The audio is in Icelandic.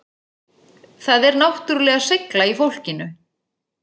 Það er náttúrulega seigla í fólkinu